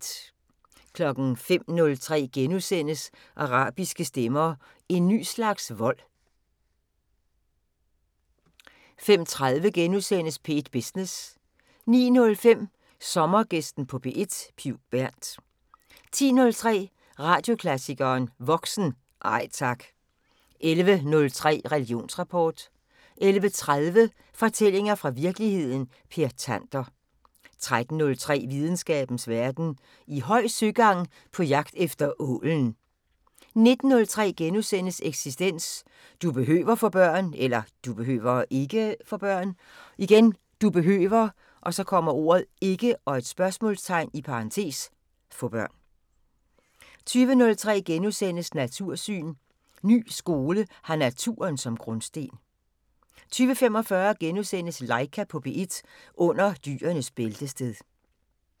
05:03: Arabiske stemmer: En ny slags vold * 05:30: P1 Business * 09:05: Sommergæsten på P1: Piv Bernth 10:03: Radioklassikeren: Voksen – Nej tak! 11:03: Religionsrapport 11:30: Fortællinger fra virkeligheden – Per Tander 13:03: Videnskabens Verden: I høj søgang på jagt efter ålen 19:03: Eksistens: Du behøver (ikke?) få børn * 20:03: Natursyn: Ny skole har naturen som grundsten * 20:45: Laika på P1 – under dyrenes bæltested *